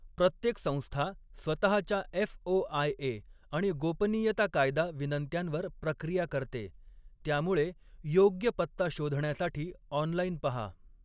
प्रत्येक संस्था स्वतःच्या एफ.ओ.आय.ए. आणि गोपनीयता कायदा विनंत्यांवर प्रक्रिया करते, त्यामुळे योग्य पत्ता शोधण्यासाठी ऑनलाइन पहा.